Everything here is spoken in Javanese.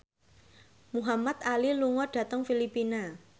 Muhamad Ali lunga dhateng Filipina